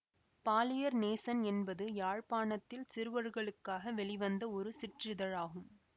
பாலியர் நேசன் என்பது யாழ்ப்பாணத்தில் சிறுவர்களுக்காக வெளிவந்த ஒரு சிற்றிதழாகும்